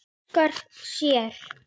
Óskar sér.